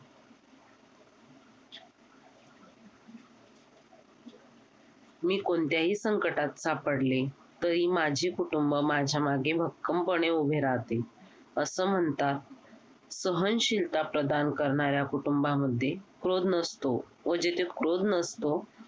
मी कोणत्याही संकटात सापडले तरी माझे कुटुंब माझ्या मागे भक्कमपणे उभे राहते असं म्हणता सहनशीलता प्रदान करणाऱ्या कुटुंबामध्ये क्रोध नसतो व जिथे क्रोध नसतो